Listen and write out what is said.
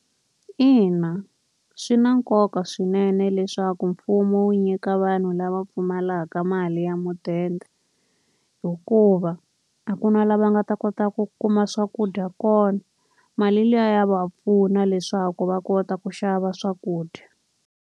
Ina swi na nkoka swinene leswaku mfumo wu nyika vanhu lava pfumalaka mali ya mudende. Hikuva a ku na laha va nga ta kota ku kuma swakudya kona, mali liya ya va pfuna leswaku va kota ku xava swakudya.